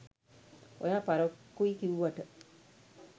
ඔයා පරක්කුයි කිව්වට